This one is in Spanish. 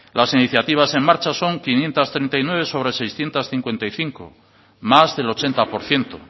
las iniciativa en marcha son quinientos treinta y nueve sobre seiscientos cincuenta y cinco más del ochenta por ciento